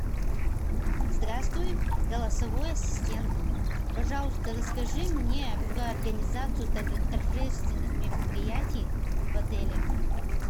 здравствуй голосовой ассистент пожалуйста расскажи мне про организацию торжественных мероприятий в отеле